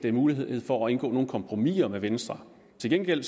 er mulighed for at indgå nogen kompromiser med venstre til gengæld